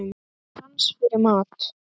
Og sans fyrir mat.